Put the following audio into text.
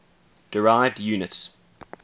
derived units